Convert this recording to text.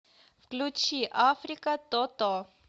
включи африка тото